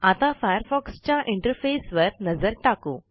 आता फायरफॉक्सच्या इंटरफेसवर नजर टाकू